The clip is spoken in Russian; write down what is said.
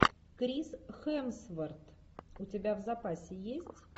крис хемсворт у тебя в запасе есть